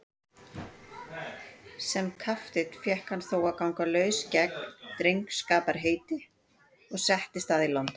Sem kapteinn fékk hann þó að ganga laus gegn drengskaparheiti og settist að í London.